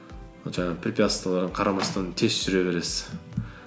ол жаңағы препятствиелерге қарамастан тез жүре бересіз